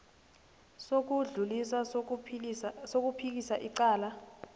sokudlulisa sokuphikisa icala